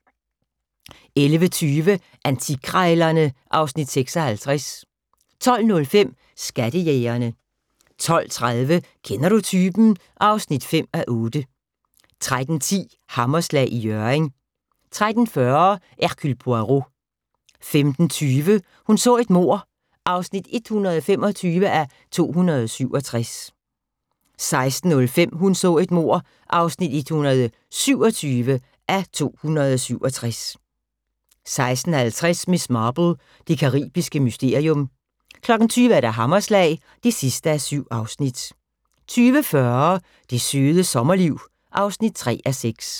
11:20: Antikkrejlerne (Afs. 56) 12:05: Skattejægerne 12:30: Kender du typen? (5:8) 13:10: Hammerslag i Hjørring 13:40: Hercule Poirot 15:20: Hun så et mord (125:267) 16:05: Hun så et mord (127:267) 16:50: Miss Marple: Det caribiske mysterium 20:00: Hammerslag (7:7) 20:40: Det Søde Sommerliv (3:6)